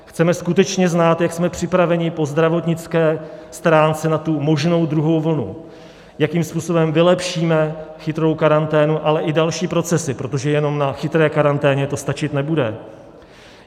Chceme skutečně znát, jak jsme připraveni po zdravotnické stránce na tu možnou druhou vlnu, jakým způsobem vylepšíme chytrou karanténu, ale i další procesy, protože jenom na chytré karanténě to stačit nebude.